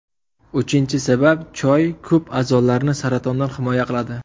Uchinchi sabab Choy ko‘p a’zolarni saratondan himoya qiladi.